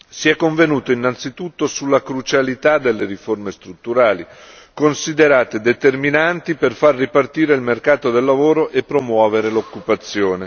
Si è convenuto innanzitutto sulla crucialità delle riforme strutturali, considerate determinanti per far ripartire il mercato del lavoro e promuovere l'occupazione.